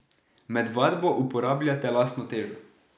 Med vadbo uporabljate lastno težo.